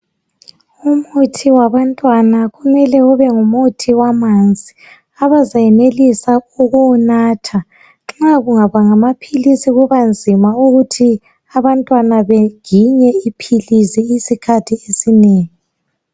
Umuthi wabantwana kumele ube ngumuthi wamanzi abazayenelisa ukuwunatha nxa kungaba ngamaphilisi kuba nzima ukuthi abantwana beginye iphilisi isikhathi esinengi.